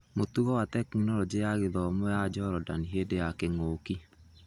Mũtũgo wa Tekinoronjĩ ya Gĩthomo ya Njorondani hĩndĩ ya kĩng'ũki